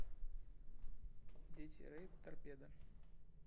дети рэйв торпеда